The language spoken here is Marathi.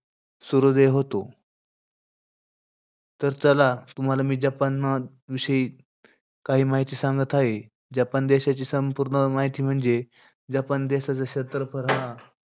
सूर्योदय होतो. तर चला तुम्हाला मी जपानविषयी काही माहिती सांगत आहे. जपान देशाची संपूर्ण माहिती म्हणजे जपान देशाचा क्षेत्रफळ हा,